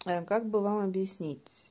как бы вам объяснить